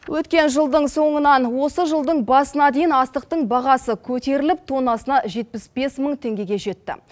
өткен жылдың соңынан осы жылдың басына дейін астықтың бағасы көтеріліп тоннасына жетпіс бес мың теңгеге жетті